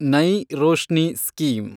Nai Roshni scheme